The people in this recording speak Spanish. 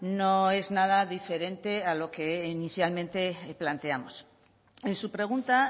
no es nada diferente a lo que inicialmente planteamos en su pregunta